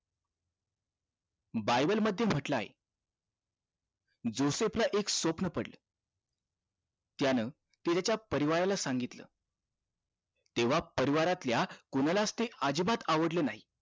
Bible मध्ये म्हटलेलं आहे जोसेफ ला एक स्वप्न पडलं त्यानं ते त्याच्या परिवाराला सांगितलं तेंव्हा परिवाऱ्यातल्या कोणालाच ते अजिबात आवडलं नाही